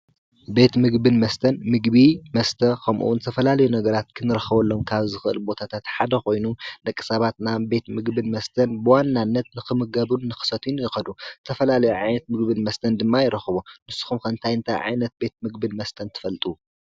ቤት ምግብን መስተን፡- ምግቢ መስተ ኸምኡውን ተፈላልዮ ነገራት ክንረኸወሎም ካብ ዝኽእል ቦታታትሓደ ኾይኑ ደቂ ሰባት ናብ ቤት ምግብን መስተን ብዋናነት ንኽምገቡን ንኽሰቱዩን ይኸዱ፡፡ ተፈላለዮ ዓይነት ምግብን መስተን ድማ ይረኸቡ ንስኹም ከ እንታይ እንታይ ዓይነት ቤት ምግብን መስተን ትፈልጡ?